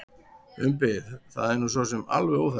Umbi: Það er nú sosum alveg óþarfi.